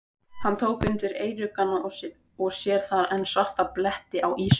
Hann tók undir eyruggana og sér þar enn svarta bletti á ýsunni.